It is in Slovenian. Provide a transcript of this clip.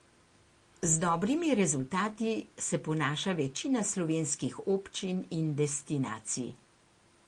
Z dobrimi rezultati se ponaša večina slovenskih občin in destinacij.